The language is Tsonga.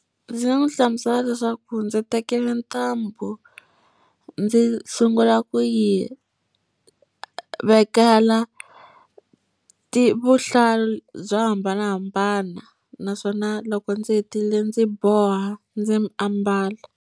Ndzi nga n'wi hlamusela leswaku ndzi tekile ntambu ndzi sungula ku yi vekela ti vuhlalu byo hambanahambana, naswona loko ndzi hetile ndzi boha ndzi ambala.